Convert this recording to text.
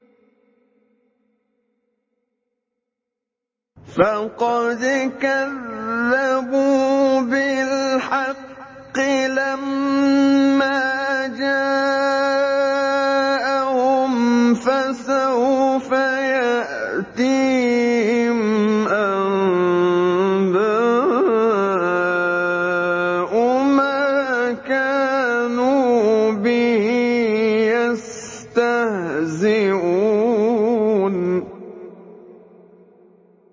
فَقَدْ كَذَّبُوا بِالْحَقِّ لَمَّا جَاءَهُمْ ۖ فَسَوْفَ يَأْتِيهِمْ أَنبَاءُ مَا كَانُوا بِهِ يَسْتَهْزِئُونَ